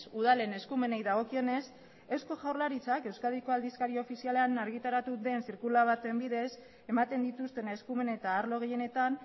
udalen eskumenei dagokionez eusko jaurlaritzak euskadiko aldizkari ofizialean argitaratu den zirkular baten bidez ematen dituzten eskumen eta arlo gehienetan